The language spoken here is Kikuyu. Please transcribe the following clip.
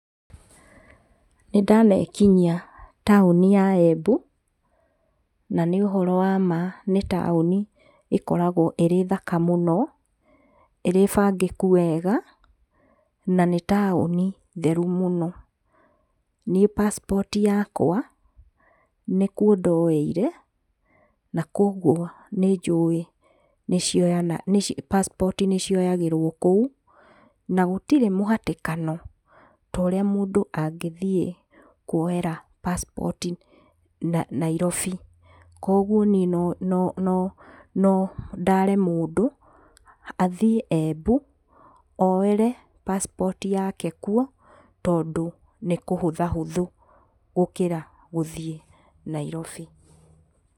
Nĩndanekinyia taũni ya Embu, na nĩũhoro wa ma nĩ taũni ĩkoragwo ĩrĩ thaka mũno, irĩ bangĩku wega, na nĩ taũni theru mũno. Niĩ pasipoti yakwa nĩkuo ndoeire na kwoguo nĩnjuĩ pasipoti nĩcioyagĩrwo kũu na gũtirĩ mũhatĩkano torĩa mũndũ angĩthiĩ kwoera pasipoti Nairobi. kwoguo niĩ no ndaare mũndũ ,athiĩ Embu oere pasipoti yake kuo tondũ nĩkũhuthahũthũ gũkĩra gũthiĩ Nairobi.